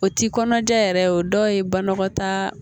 O ti kɔnɔja yɛrɛ o dɔw ye banakɔta